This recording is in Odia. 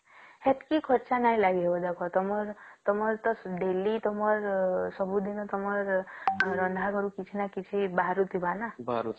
ସେତକୀ ଖର୍ଚ ନାଇଁ ଲାଗିବ ଦେଖ ତମର ତ Daily ତମର ସବୁଦିନେ ତମର ରନ୍ଧା ଘରୁ କିଛି ନ କିଛି ବାହାରୁଥିବା ନ